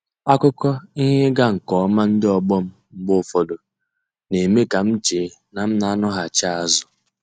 Akụkọ ihe ịga nke ọma ndị ọgbọ m mgbe ụfọdụ, na-eme ka m chee na m n'anọghachi azụ.